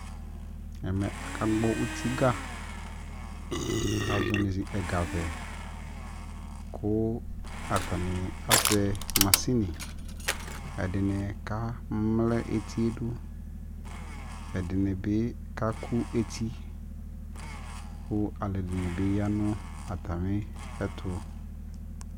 ɛmɛ aka gbɔ ʋti ga kʋ azɔnʋ ɛga vɛ kʋ atani azɛ mashini, ɛdini kamlɛ ɛtiɛ dʋ, ɛdinibi kakʋ ɛti kʋ alʋɛdini bi yanʋ atami ɛtʋ